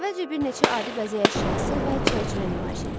Əvvəlcə bir neçə adi bəzək əşyası və çərçivə nümayiş edildi.